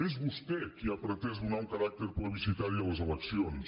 és vostè qui ha pretès donar un caràcter plebiscitari a les eleccions